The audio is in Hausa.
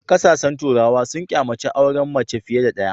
Kasashen turawa sun kyamaci auren mace fiye da ɗaya.